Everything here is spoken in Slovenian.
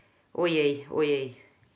Ojej, ojej.